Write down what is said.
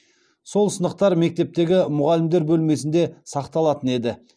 сол сынықтар мектептегі мұғалімдер бөлмесінде сақталатын еді